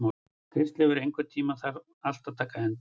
Kristleifur, einhvern tímann þarf allt að taka enda.